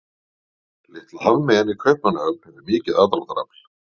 Litla hafmeyjan í Kaupmannahöfn hefur mikið aðdráttarafl.